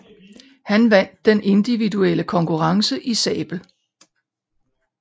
Han vandt den individuelle konkurrence i sabel